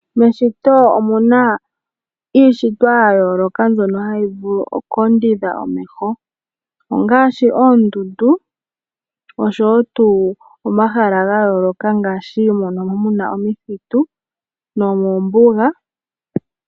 Meshito omu na iishitwa ya yooloka mbyono hayi vulu oku ondodha omeho, ongaashi oondundu oshowo tuu omahala ga yooloka, ngaashi mono muna iithitu nomoombuga.